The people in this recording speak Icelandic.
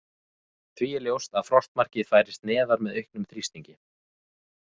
Því er ljóst að frostmarkið færist neðar með auknum þrýstingi.